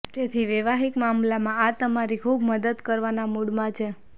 તેથી વૈવાહિક મામલામાં આ તમારી ખૂબ મદદ કરવાના મૂડમાં છે